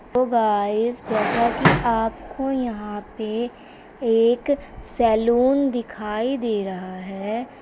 Hello guys जैसा की आपको यहां पे एक सैलून दिखाई दे रहा है।